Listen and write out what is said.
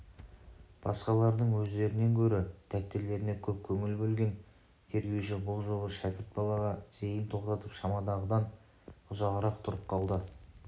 басқалардың өздерінен гөрі дәптерлеріне көп көңіл бөлген тергеуші бұл жолы шәкірт балаға зейін тоқтатып шамадағыдан ұзағырақ тұрып қалды